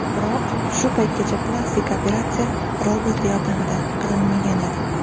Biroq shu paytgacha plastik operatsiya robot yordamida qilinmagan edi.